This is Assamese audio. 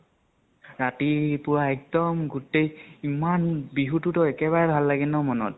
ৰাতিপুৱা এক্দম গোটেই, ইমান বিহুতোতো একেবাৰে ভাল লাগে ন মন ত